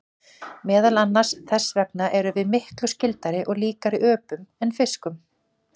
Meðal annars þess vegna erum við miklu skyldari og líkari öpum en fiskum.